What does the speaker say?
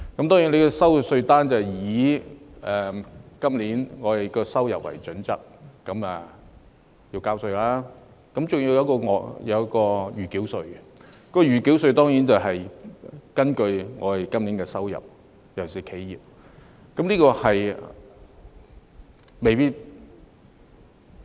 當然，收到的稅單將以今年的收入為基準計算稅款，還有一項暫繳稅；暫繳稅當然也是根據今年的收入，尤其就企業而言。